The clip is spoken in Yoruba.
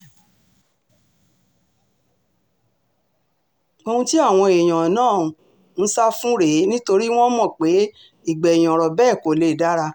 ohun tí àwọn èèyàn náà ń sá fún rèé nítorí wọ́n mọ̀ pé ìgbẹ̀yìn ọ̀rọ̀ bẹ́ẹ̀ kò lè dára